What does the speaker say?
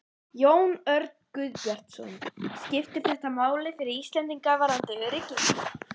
Jón Örn Guðbjartsson: Skiptir þetta máli fyrir Íslendinga varðandi öryggi?